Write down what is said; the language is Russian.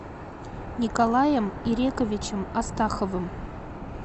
николаем ирековичем астаховым